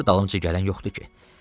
Gör dalımca gələn yoxdu ki.